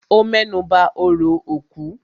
Ó mẹ́nuba òrò òkú